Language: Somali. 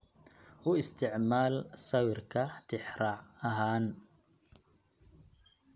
U isticmaal sawirka tixraac ahaan.